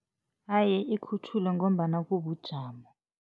Haye ikhutjhulwe ngombana kubujamo.